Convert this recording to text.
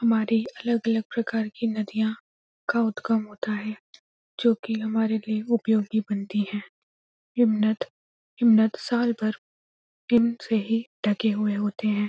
हमारे अलग-अलग प्रकार के नदियाँ का उद्गम होता है जो की हमारे लिए उपयोगी बनती है। हिमनत हिमनत साल भर किम से ही ढके हुए होते हैं।